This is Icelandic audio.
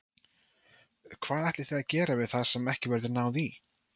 Hvað ætlið þið að gera við það sem ekki verður náð í?